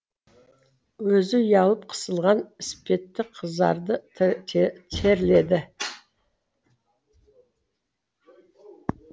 өзі ұялып қысылған іспетті қызарды терледі